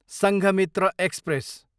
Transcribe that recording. Sanghamitra express